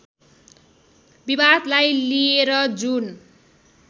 विवादलाई लिएर जुन